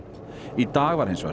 í dag var hins vegar